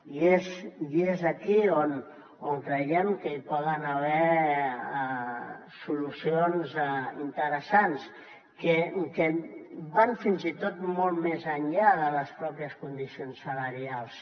i és aquí on creiem que hi poden haver solucions interessants que van fins i tot molt més enllà de les pròpies condicions salarials